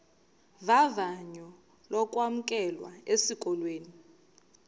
vavanyo lokwamkelwa esikolweni